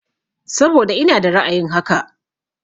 Saboda ina da ra'ayin haka.